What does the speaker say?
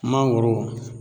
Mangoro